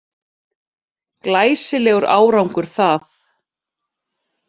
Glæsilegur árangur það